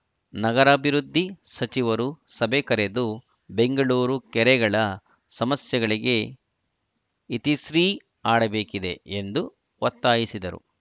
ನಗರಾಭಿವೃದ್ಧಿ ಸಚಿವರು ಸಭೆ ಕರೆದು ಬೆಂಗಳೂರು ಕೆರೆಗಳ ಸಮಸ್ಯೆಗಳಿಗೆ ಇತಿಶ್ರೀ ಹಾಡಬೇಕಿದೆ ಎಂದು ಒತ್ತಾಯಿಸಿದರು